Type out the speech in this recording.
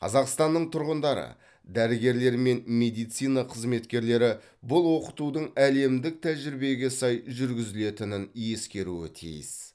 қазақстанның тұрғындары дәрігерлері мен медицина қызметкерлері бұл оқытудың әлемдік тәжірибеге сай жүргізілетінін ескеруі тиіс